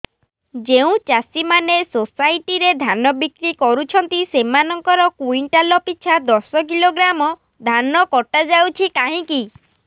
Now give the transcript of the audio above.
ଯେଉଁ ଚାଷୀ ମାନେ ସୋସାଇଟି ରେ ଧାନ ବିକ୍ରି କରୁଛନ୍ତି ସେମାନଙ୍କର କୁଇଣ୍ଟାଲ ପିଛା ଦଶ କିଲୋଗ୍ରାମ ଧାନ କଟା ଯାଉଛି କାହିଁକି